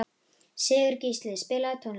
Sigurgísli, spilaðu tónlist.